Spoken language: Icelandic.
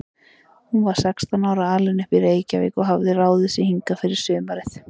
Hún var sextán ára, alin upp í Reykjavík og hafði ráðið sig hingað fyrir sumarið.